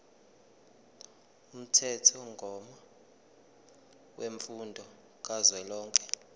umthethomgomo wemfundo kazwelonke